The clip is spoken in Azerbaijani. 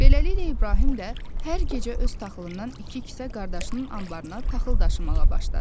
Beləliklə İbrahim də hər gecə öz taxılından iki kisə qardaşının anbarına taxıl daşımağa başladı.